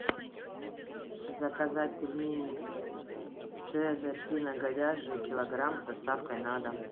заказать пельмени цезарь свино говяжьи килограмм с доставкой на дом